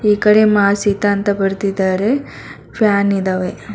ಈ ಕಡೆ ಮಾ ಸೀತಾ ಅಂತ ಬರ್ದಿದ್ದಾರೆ ಫ್ಯಾನ್ ಇದವೆ.